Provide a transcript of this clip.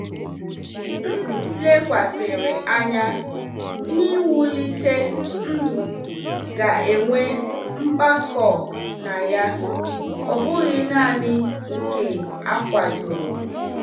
M lekwasịrị anya n'ịwulite ndụ m ga-enwe mpako na ya, ọ bụghị naanị nke a kwadoro.